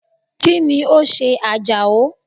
Kíni o se Àjàó?